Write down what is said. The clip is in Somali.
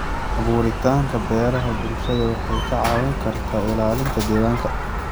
Abuuritaanka beeraha bulshada waxay ka caawin kartaa ilaalinta deegaanka.